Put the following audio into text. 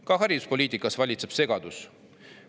Ka hariduspoliitikas valitseb segadus.